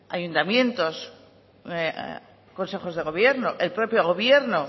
ayuntamientos consejos de gobierno el propio gobierno